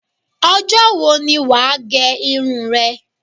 Ọjọ́ wo ni wà á gẹ irun rẹ?